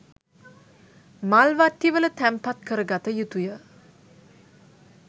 මල් වට්ටිවල තැන්පත් කර ගත යුතුය.